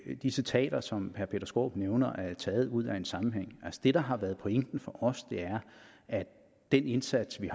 at de citater som herre peter skaarup nævner er taget ud af en sammenhæng det der har været pointen for os er at den indsats vi